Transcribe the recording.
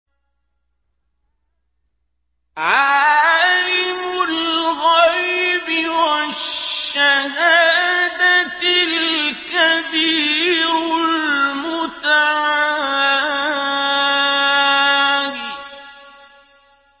عَالِمُ الْغَيْبِ وَالشَّهَادَةِ الْكَبِيرُ الْمُتَعَالِ